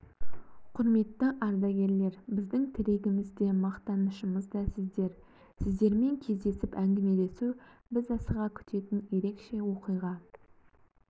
құрметті ардагерлер біздің тірегіміз де мақтанышымыз да сіздер сіздермен кездесіп әңгімелесу біз асыға күтетін ерекше оқиға